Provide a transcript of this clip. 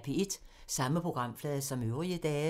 Samme programflade som øvrige dage